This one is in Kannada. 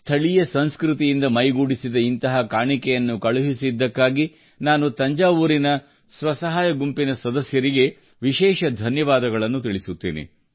ಸ್ಥಳೀಯ ಸಂಸ್ಕೃತಿಯಿಂದ ಮೈಗೂಡಿಸಿದ ಇಂತಹ ಕಾಣಿಕೆಯನ್ನು ಕಳುಹಿಸಿದ್ದಕ್ಕಾಗಿ ನಾನು ತಂಜಾವೂರಿನ ಸ್ವಸಹಾಯ ಗುಂಪಿನ ಸದಸ್ಯರಿಗೆ ವಿಶೇಷವಾದ ಧನ್ಯವಾದಗಳನ್ನು ತಿಳಿಸುತ್ತೇನೆ